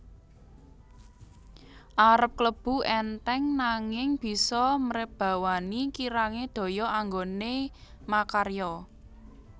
Arep klebu entheng nanging bisa mrebawani kirange daya anggone makarya